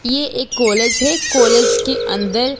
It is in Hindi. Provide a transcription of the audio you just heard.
ये एक कॉलेज है कॉलेज के अंदर --